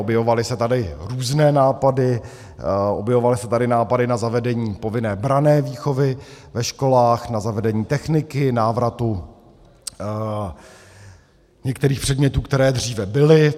Objevovaly se tady různé nápady, objevovaly se tady nápady na zavedení povinné branné výchovy ve školách, na zavedení techniky, návratu některých předmětů, které dříve byly.